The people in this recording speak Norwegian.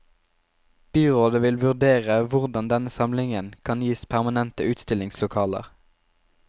Byrådet vil vurdere hvordan denne samlingen kan gis permanente utstillingslokaler.